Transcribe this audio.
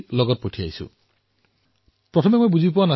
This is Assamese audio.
তেতিয়া মই দেখিলো যে ভেংকটজীয়ে চিঠিৰ সৈতে এখন চাৰ্ট গাঁঠি দিছে